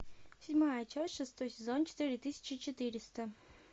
седьмая часть шестой сезон четыре тысячи четыреста